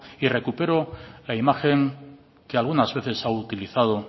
y recupero la imagen que algunas veces ha utilizado